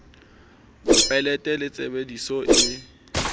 mopeleto le tshebe diso e